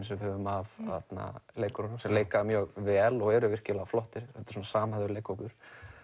sem við höfum af leikurunum sem leika mjög vel og eru virkilega flottir þetta er samhæfður leikhópur